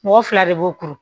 Mɔgɔ fila de b'o kuru